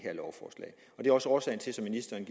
er også årsagen til som ministeren